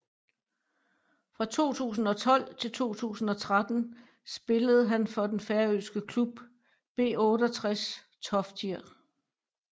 Fra 2012 til 2013 spillede han for den færøske klub B68 Toftir